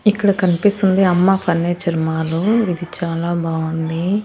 ఇక్కడ కనిపిస్తుంది అమ్మ ఫర్నిచర్ మాలు ఇది చాలా బావుంది.